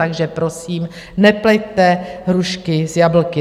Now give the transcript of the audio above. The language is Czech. Takže prosím, nepleťte hrušky s jablky.